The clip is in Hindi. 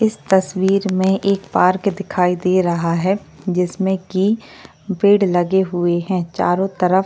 इस तस्वीर में एक पार्क दिखाई दे रहा है जिसमें की बेड लगे हुए हैं चारों तरफ--